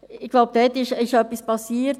Ich glaube, da ist etwas geschehen.